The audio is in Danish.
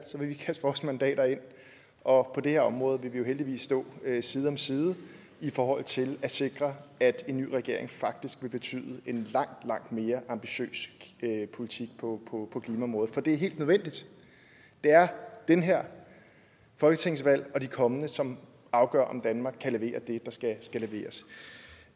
vil kaste vores mandater ind og vi her område heldigvis stå side om side i forhold til at sikre at en ny regering faktisk vil betyde en langt langt mere ambitiøs politik på klimaområdet for det er helt nødvendigt det er det her folketingsvalg og de kommende som afgør om danmark kan levere det der skal leveres